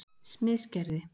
Smiðsgerði